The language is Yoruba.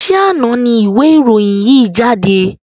Ṣé àna ni ìwé ìròyìn yìí jáde?